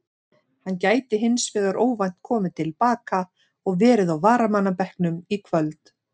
Hann gæti hins vegar óvænt komið til baka og verið á varamannabekknum í kvöld.